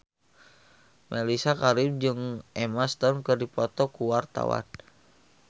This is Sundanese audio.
Mellisa Karim jeung Emma Stone keur dipoto ku wartawan